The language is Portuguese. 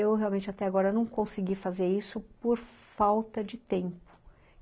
eu, até agora, não consegui fazer isso por falta de tempo.